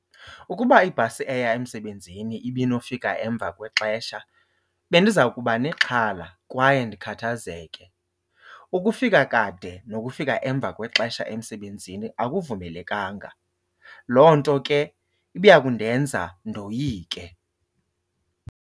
Ukuba ibhasi eya emsebenzini ibinofika emva kwexesha bendiza kuba nexhala kwaye ndikhathazeke. Ukufika kade nokufika emva kwexesha emsebenzini akuvumelekanga, loo nto ke ibiya kundenza ndoyike.